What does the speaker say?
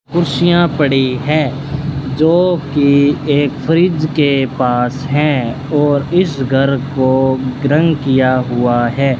कुर्सियां पड़ी है जोकि एक फ्रिज के पास है और इस घर को रंग किया हुआ है।